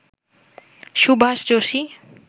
Subhash Joshi